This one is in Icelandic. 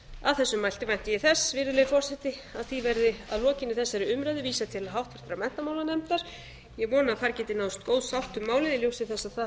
að þessu mælti vænti ég þess virðulegi forseti að því verði að lokinni þessari umræðu vísað til háttvirtrar menntamálanefndar ég vona að þar geti náðst góð sátt um málið í ljósi